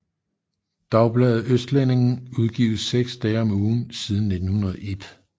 Dagbladet Østlendingen udgives seks dage om ugen siden 1901